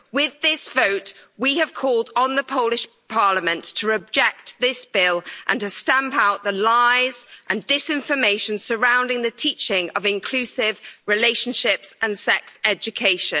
With this vote we have called on the Polish Parliament to reject this bill and to stamp out the lies and disinformation surrounding the teaching of inclusive relationship and sex education.